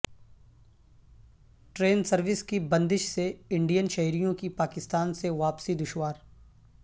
train service کی بندش سے انڈین شہریوں کی پاکستان سے واپسی دشوار